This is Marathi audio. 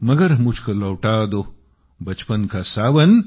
मगर मुझको लौटा दो बचपन का सावन